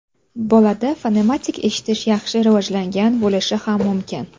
Bolada fonematik eshitish yaxshi rivojlangan bo‘lishi ham mumkin.